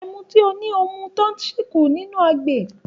Ẹmu tí o ní o ti mu tán ṣì kù nínú agbè.